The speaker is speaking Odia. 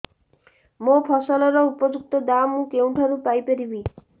ମୋ ଫସଲର ଉପଯୁକ୍ତ ଦାମ୍ ମୁଁ କେଉଁଠାରୁ ପାଇ ପାରିବି